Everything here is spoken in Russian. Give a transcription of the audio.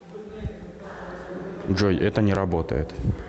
джой это не работает